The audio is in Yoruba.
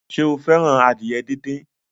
Sọ fẹ́ràn adìyẹ díndín?